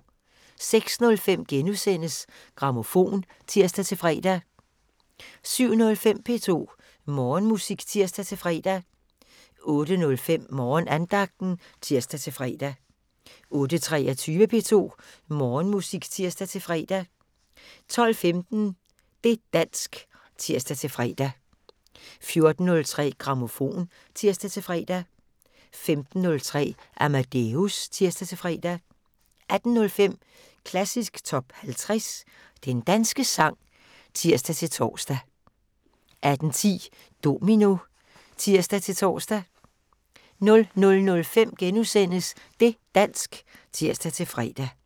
06:05: Grammofon *(tir-fre) 07:05: P2 Morgenmusik (tir-fre) 08:05: Morgenandagten (tir-fre) 08:23: P2 Morgenmusik (tir-fre) 12:15: Det' dansk (tir-fre) 14:03: Grammofon (tir-fre) 15:03: Amadeus (tir-fre) 18:05: Klassisk Top 50 - Den danske sang (tir-tor) 18:10: Domino (tir-tor) 00:05: Det' dansk *(tir-fre)